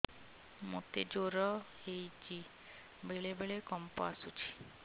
ମୋତେ ଜ୍ୱର ହେଇଚି ବେଳେ ବେଳେ କମ୍ପ ଆସୁଛି